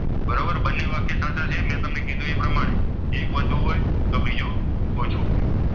પ્રમાણે એક વધુ હોય તો બીજો ઓછો હોય.